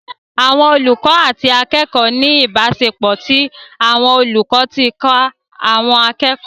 Àwọn olùkọ́ àti akẹ́kọ̀ọ́ ní ìbáṣepọ̀ tí àwọn olùkọ́ ti ń kọ́ àwọn akẹ́kọ̀ọ́